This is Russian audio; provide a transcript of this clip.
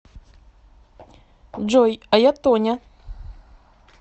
джой а я тоня